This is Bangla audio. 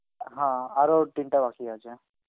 হা আরো তিনটা বাকি আছে.